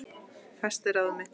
Festi ráð mitt